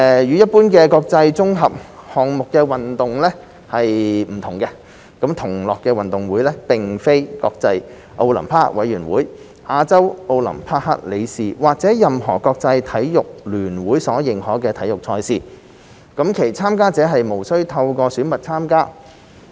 與一般的國際綜合項目運動會不同，"同樂運動會"並非國際奧林匹克委員會、亞洲奧林匹克理事會或任何國際體育聯會所認可的體育賽事；其參加者無須透過選拔參加。